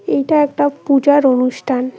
এইটা একটা পূজার অনুষ্ঠান।